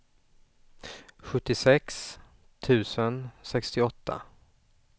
sjuttiosex tusen sextioåtta